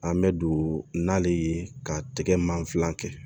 An bɛ don n'ale ye ka tɛgɛmanfilan kɛ